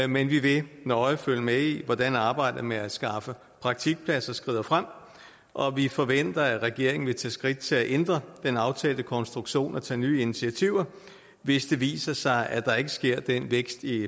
men vi vil nøje følge med i hvordan arbejdet med at skaffe praktikpladser skrider frem og vi forventer at regeringen vil tage skridt til at ændre den aftalte konstruktion og tage nye initiativer hvis det viser sig at der ikke sker den vækst i